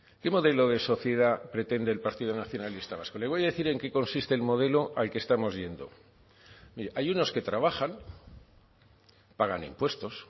qué modelo de sociedad pretende el partido nacionalista vasco le voy a decir en qué consiste el modelo al que estamos yendo mire hay unos que trabajan pagan impuestos